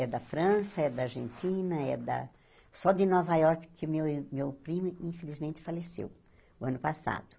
É da França, é da Argentina, é da... Só de Nova Iorque que meu ir meu primo infelizmente faleceu, o ano passado.